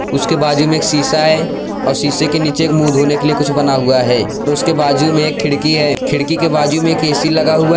उसके बाजू में एक शीशा हैं और शीशे के नीचे मुंह धोने के लिए कुछ बना हुआ हैं और उसके बाजू मे एक खिड़की हैं खिड़की के बाजू में एक ऐ_सी लगा हुआ हैं।